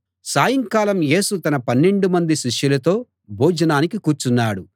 సాయంకాలం యేసు తన పన్నెండు మంది శిష్యులతో భోజనానికి కూర్చున్నాడు